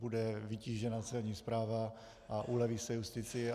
Bude vytížena Celní správa a uleví se justici.